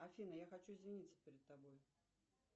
афина я хочу извиниться перед тобой